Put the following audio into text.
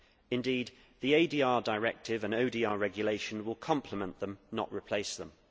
Indeed, the ADR directive and ODR regulation will complement them, not replace them.